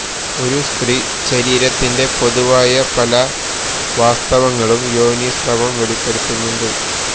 ഒരു സ്ത്രീ ശരീരത്തിന്റെ പൊതുവായ പല വാസ്തവങ്ങളും യോനീസ്രവം വെളിപ്പെടുത്തുന്നുണ്ട്